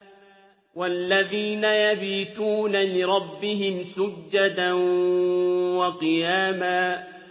وَالَّذِينَ يَبِيتُونَ لِرَبِّهِمْ سُجَّدًا وَقِيَامًا